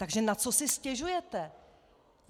Tak na co si stěžujete?